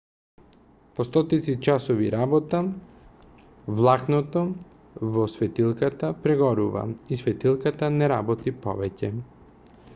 по стотици часови работа влакното во светилката прегорува и светилката не работи повеќе